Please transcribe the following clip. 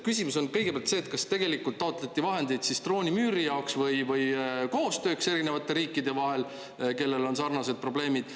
Küsimus on nüüd kõigepealt see, et kas tegelikult taotleti vahendeid siis droonimüüri jaoks või koostööks erinevate riikide vahel, kellel on sarnased probleemid.